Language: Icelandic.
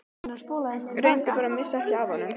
Reyndu bara að missa ekki af honum.